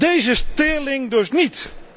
Deze teerling dus niet!